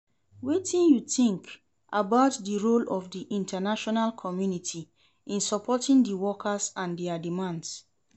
Wetin you think about di role of di international community in supporting di workers and dia demands?